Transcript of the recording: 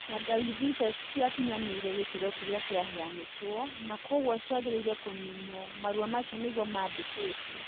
Tangawithi icio itĩ kinyanĩire gĩkĩro kĩria kĩheanĩtwo na kwoguo ciagĩrĩire kũniinwo. marũa macio nigũo mandikitwo.